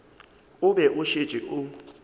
o be o šetše o